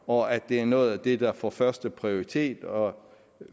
og at det er noget af det der får førsteprioritet og